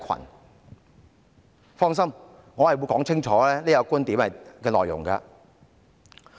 主席，請放心，我會清楚說明這個觀點的內容。